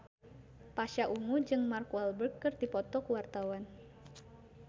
Pasha Ungu jeung Mark Walberg keur dipoto ku wartawan